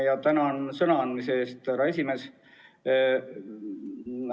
Ja tänan sõna andmise eest, härra esimees!